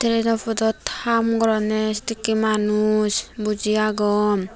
erapodot haam goronye sedekkey manus buji agon.